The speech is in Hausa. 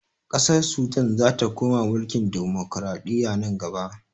Ƙasar sudan zata koma mulkin dimukuraɗiyya nan gaba